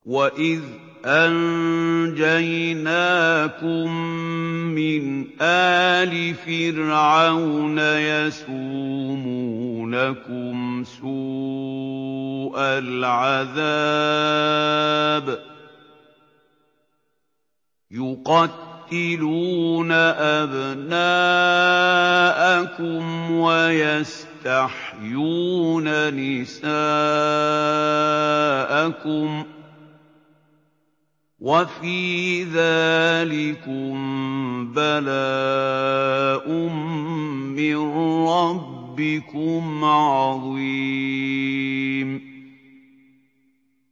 وَإِذْ أَنجَيْنَاكُم مِّنْ آلِ فِرْعَوْنَ يَسُومُونَكُمْ سُوءَ الْعَذَابِ ۖ يُقَتِّلُونَ أَبْنَاءَكُمْ وَيَسْتَحْيُونَ نِسَاءَكُمْ ۚ وَفِي ذَٰلِكُم بَلَاءٌ مِّن رَّبِّكُمْ عَظِيمٌ